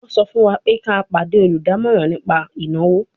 Wọ́n sọ fún wa pé ká pàdé olùdámọ̀ràn nípa ìnáwó